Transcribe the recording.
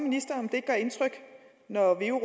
ikke gør indtryk når veu